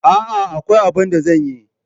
A'a, akwai abun da zan yi.